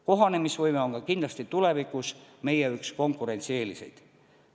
Kohanemisvõime on kindlasti tulevikus üks meie konkurentsieeliseid.